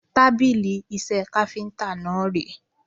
Tábìlì iṣẹ́ káfíntà náà ré.